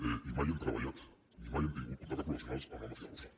ni mai hem treballat ni mai hem tingut contactes professionals amb la màfia russa